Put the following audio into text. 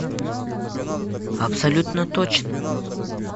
абсолютно точно